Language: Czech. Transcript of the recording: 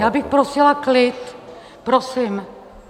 Já bych prosila klid prosím.